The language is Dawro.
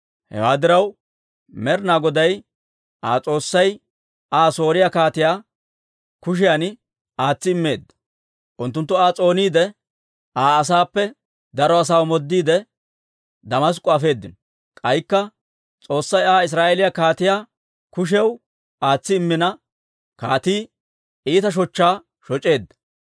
Hewaa diraw, Med'inaa Goday Aa S'oossay Aa Sooriyaa kaatiyaa kushiyaan aatsi immeedda. Unttunttu Aa s'ooniide, Aa asaappe daro asaa omoodiide, Damask'k'o afeedino. K'aykka S'oossay Aa Israa'eeliyaa kaatiyaa kushiyaw aatsi immina, kaatii iita shochchaa shoc'eedda.